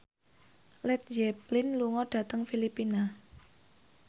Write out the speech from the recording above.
Led Zeppelin lunga dhateng Filipina